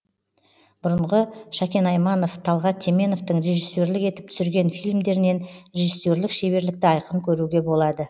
бұрынғы шәкен айманов талғат теменовтың режиссерлік етіп түсірген фильмдерінен режиссерлік шеберлікті айқын көруге болады